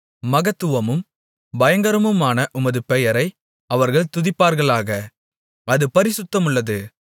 மகத்துவமும் பயங்கரமுமான உமது பெயரை அவர்கள் துதிப்பார்களாக அது பரிசுத்தமுள்ளது